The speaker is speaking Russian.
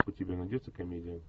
у тебя найдется комедия